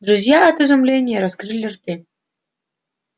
друзья от изумления раскрыли рты